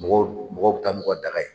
Mɔgɔ mɔgɔ bi taa daga ye